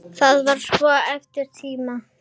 Þetta var svo erfiður tími.